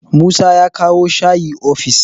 Musa ya kawo shayi ofis